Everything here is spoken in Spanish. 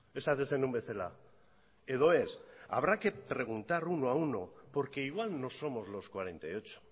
esaten zenuen bezala edo ez habrá que preguntar uno a uno porque igual no somos los cuarenta y ocho